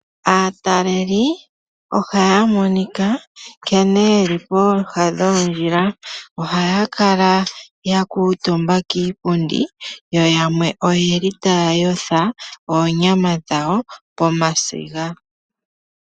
Aatalelipo ohaya monika nkene yeli pooha dhoondjila. Ohaya kala ya kuutumba kiipundi yo yamwe oyeli taya yotha oonyama dhawo pomasiga.